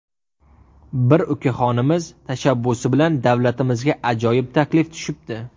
Bir ukaxonimiz tashabbusi bilan davlatimizga ajoyib taklif tushibdi.